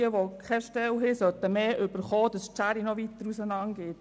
Wer keine Stelle hat, soll mehr erhalten, sodass die Schere noch weiter auseinander geht.